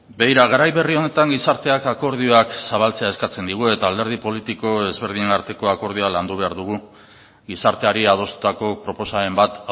begira garai berri honetan gizarteak akordioak zabaltzea eskatzen digu eta alderdi politiko ezberdinen arteko akordioa landu behar dugu gizarteari adostutako proposamen bat